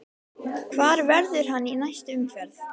Hvar verður hann í næstu umferð?